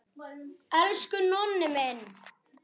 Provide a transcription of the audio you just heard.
Elsku Nonni minn.